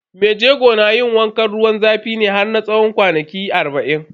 Mai jego na yin wankan ruwan zafi ne har na tsawon kwanaki arba'in.